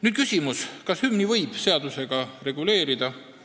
Nüüd küsimus, kas hümni võib seadusega reguleerida.